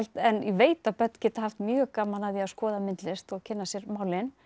en ég veit að börn geta haft mjög gaman af því að skoða myndlist og kynna sér málin